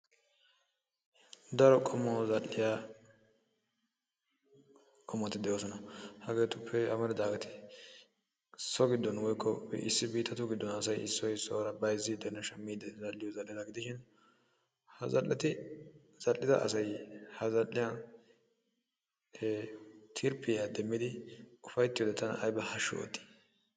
Daro qommo xal"iyaa qommoti de'oosona. Hageetuppe amaridaageeti so giddon woykko issi biittatu giddon asay issoy issuwaara bayzzidenne shammide zal"iyoo zal"etta gidishin ha zal"eti zal"ida asay tirpiyaa demiyoode tana aybba hashshu ootti!